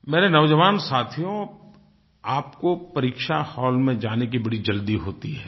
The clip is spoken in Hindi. मेरे नौजवान साथियो आपको परीक्षा हॉल में जाने की बड़ी जल्दी होती है